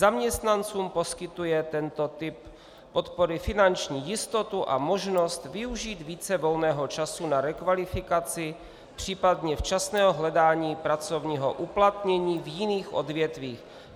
Zaměstnancům poskytuje tento typ podpory finanční jistotu a možnost využít více volného času na rekvalifikaci, případně včasného hledání pracovního uplatnění v jiných odvětvích.